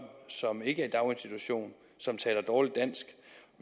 som ikke er i daginstitution og som taler dårligt dansk